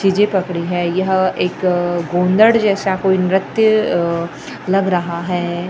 चीजें पकडी है यह एक गोंधड़ जैसा कोई नृत्य लग रहा है।